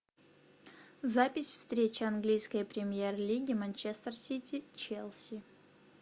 запись встречи английской премьер лиги манчестер сити челси